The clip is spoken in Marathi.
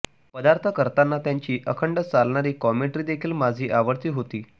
पदार्थ करताना त्यांची अखंड चालणारी कॉमेंट्रीदेखील माझी आवडती होती